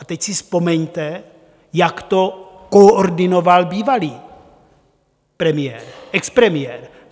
A teď si vzpomeňte, jak to koordinoval bývalý premiér, expremiér.